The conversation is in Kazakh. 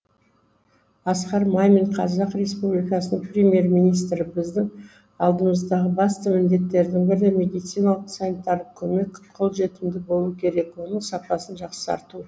асқар мамин қазақ республикасы премьер министрі біздің алдымыздағы басты міндеттердің бірі медициналық санитарлық көмек қолжетімді болу керек оның сапасын жақсарту